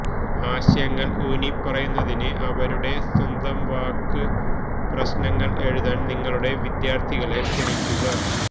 ആശയങ്ങൾ ഊന്നിപ്പറയുന്നതിന് അവരുടെ സ്വന്തം വാക്ക് പ്രശ്നങ്ങൾ എഴുതാൻ നിങ്ങളുടെ വിദ്യാർത്ഥികളെ ക്ഷണിക്കുക